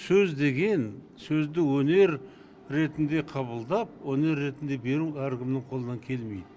сөз деген сөзді өнер ретінде қабылдап өнер ретінде беру әркімнің қолынан келмейді